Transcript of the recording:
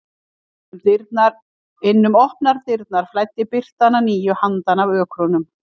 Inn um opnar dyrnar flæddi birtan að nýju handan af ökrunum.